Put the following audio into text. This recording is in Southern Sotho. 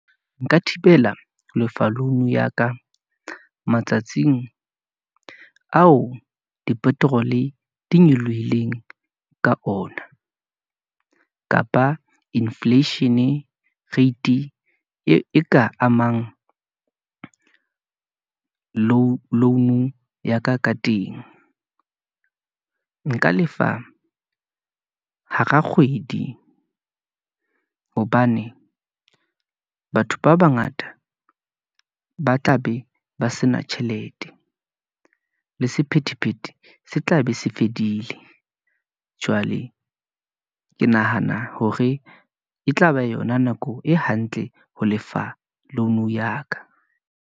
Nka thibela ho lefa loan-e ya ka, matsatsing ao di-petrol-e dinyolohileng ka ona, kapa inflation-e rate e ka amang loan ya ka ka teng . Nka lefa hara kgwedi hobane batho ba bangata , ba tla be ba sena tjhelete, le sephethephethe se tla be se fedile. Jwale ke nahana hore e tla ba yona nako e hantle, ho lefa loan ya ka.